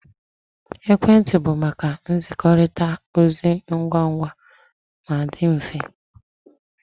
Ekwentị bụ maka nzikọrịta ozi ngwa ngwa ma dị mfe